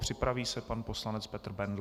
Připraví se pan poslance Petr Bendl.